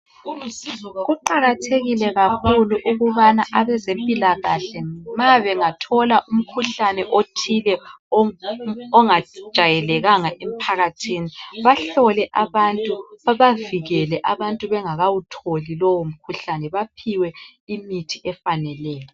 Kuqakathekile kakhulu ukubana abezempilakahle nxa bengathola umkhuhlane othile ongajwayelekanga emphakathini, bahlole abantu, njalo babavikele bengakawutholi lowo mkhuhlane baphiwe imithi efaneleyo.